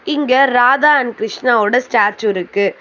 இங்க ராதா அண்ட் கிருஷ்ணா ஓட ஸ்டேச்சு இருக்கு.